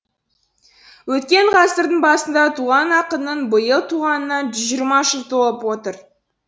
өткен ғасырдың басында туған ақынның биыл туғанына жүз жиырма жыл толып отыр